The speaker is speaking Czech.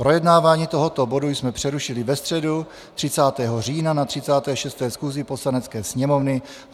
Projednávání tohoto bodu jsme přerušili ve středu 30. října na 36. schůzi Poslanecké sněmovny.